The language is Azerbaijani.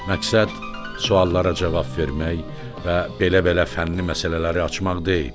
Məqsəd suallara cavab vermək və belə-belə fənni məsələləri açmaq deyil.